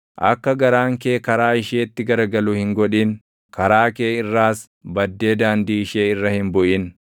Akka garaan kee karaa isheetti garagalu hin godhin; karaa kee irraas baddee daandii ishee irra hin buʼin.